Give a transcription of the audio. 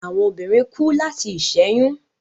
Awọn obinrin ku lati iṣẹyun